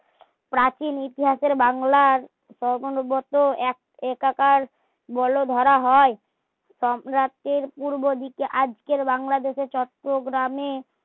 প্রাচীন ইতিহাসের বাংলার সমনগত এক একাকার বলে ধরা হয় সম্রাটের পূর্ব দিকে আজকের বাংলাদেশের চট্টগ্রামে